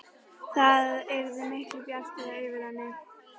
Það yrði miklu bjartara yfir henni.